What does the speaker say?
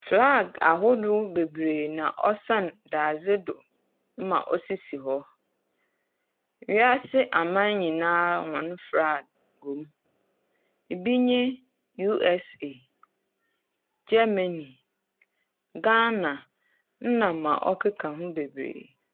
Flag ahorow beberee na ɔsan dadze do ma osisi hɔ, wiase aman nyinaa hɔn flag wɔ mu. Bi nye USA, Germany, Ghana, na dza ɔkeka ho bebree.